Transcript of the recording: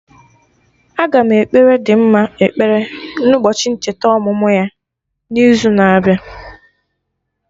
Aga m ekpere Dimma ekpere na ụbọchị ncheta ọmụmụ ya na izu na-abịa